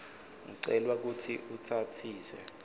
ucelwa kutsi utsatsise